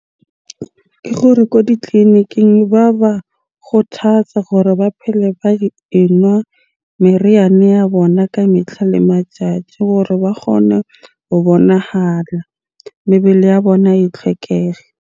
Ke gore ko ditleliniking ba ba kgothatsa gore ba phele ba e nwa meriana ya bona ka metlha le matjatji hore ba kgone ho bonahala. Mebele ya bona e tlhwekege.